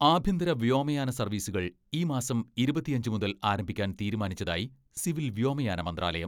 ആഭ്യന്തര വ്യോമയാന സർവ്വീസുകൾ ഈ മാസം ഇരുപത്തിയഞ്ച് മുതൽ ആരംഭിക്കാൻ തീരുമാനിച്ചതായി സിവിൽ വ്യോമയാന മന്ത്രാലയം.